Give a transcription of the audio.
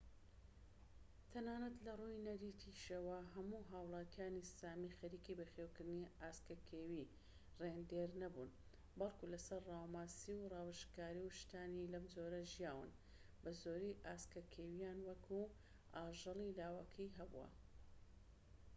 تەنانەت لەڕووی نەریتیشەوە، هەموو هاولاتیانی سامی خەریکی بەخێوکردنی ئاسکە کێوی ڕێندیر نەبوون، بەلکو لەسەر ڕاوە ماسی و راووشکار و شتانی لەم جۆرە ژیاون، بەزۆری ئاسکە کێویان وەکو ئاژەلی لاوەکی هەبووە